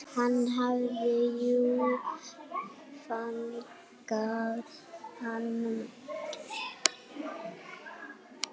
Hann hafði jú fangað hann.